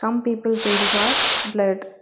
Some people faces are blurred.